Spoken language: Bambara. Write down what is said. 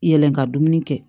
Yɛlɛn ka dumuni kɛ